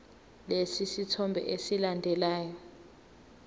lesi sithombe esilandelayo